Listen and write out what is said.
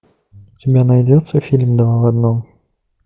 у тебя найдется фильм два в одном